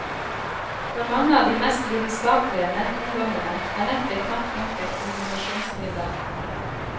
For mange av de mest lidenskapelige nettungdommene er nettet knapt nok et kommunikasjonsmiddel.